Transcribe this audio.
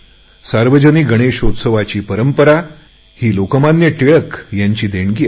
सार्वजनिक गणेशोत्सवाची परंपरा हे लोकमान्य टिळकांचे देणे आहे